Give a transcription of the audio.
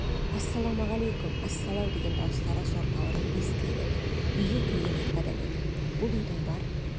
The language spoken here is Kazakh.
ассалаумағалейкүм ассалау деген дауыстары зор даурығып естіле берді үйге кірген екі адам еді бұл үйдің бар